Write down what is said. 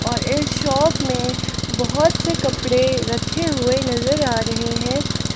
और इस शॉप में बहोत से कपड़े रखे हुए नजर आ रहे हैं।